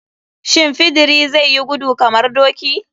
Shin fidiri zai yi gudu kamar doki?